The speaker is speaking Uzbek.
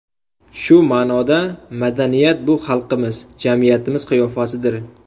Shu ma’noda, madaniyat – bu xalqimiz, jamiyatimiz qiyofasidir.